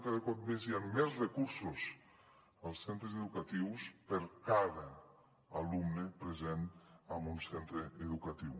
cada cop més hi han més recursos als centres educatius per cada alumne present en un centre educatiu